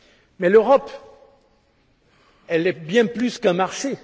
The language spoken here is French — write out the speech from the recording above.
Mais l'Europe est bien plus qu'un marché.